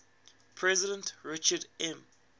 president richard m